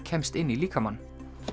kemst inn í líkamann